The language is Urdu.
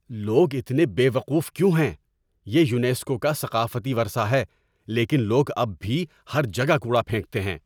لوگ اتنے بے وقوف کیوں ہیں؟ یہ یونیسکو کا ثقافتی ورثہ ہے لیکن لوگ اب بھی ہر جگہ کوڑا پھینکتے ہیں۔